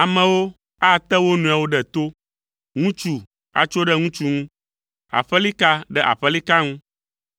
Amewo ate wo nɔewo ɖe to, ŋutsu atso ɖe ŋutsu ŋu, aƒelika ɖe aƒelika ŋu,